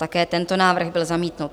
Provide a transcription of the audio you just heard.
Také tento návrh byl zamítnut.